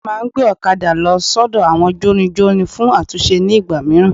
A máa ngbé òkadà lo sódò àwọn jórinjórin fún àtúnse nígbà míràn